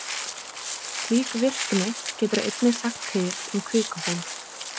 Slík virkni getur einnig sagt til um kvikuhólf.